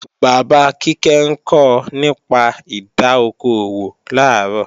Bàbá Kíkẹ́ ńkọ nípa ìdá okò òwò làárọ̀